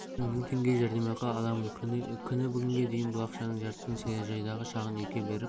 сайын мың теңге жәрдемақы аламын күні бүгінге дейін бұл ақшаның жартысын саяжайдағы шағын үйге беріп